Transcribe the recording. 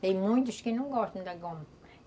Tem muitos que não gostam da goma.